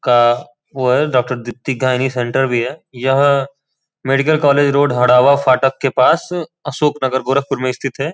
का वह है डॉक्टर दीप्ति गाहिनी सेंटर भी है यह मेडिकल कॉलेज रोड हड़ावा फाटक के पास अशोक नगर गोरखपुर में स्थित है।